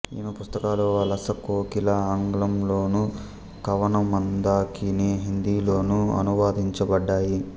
ఈమె పుస్తకాలు వలస కోకిల ఆంగ్లంలోను కవనమందాకిని హిందీలోను అనువదించబడ్డాయి